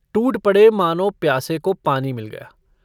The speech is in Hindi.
टूट पड़े मानो प्यासे को पानी मिल गया।